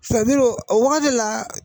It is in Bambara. o wagati la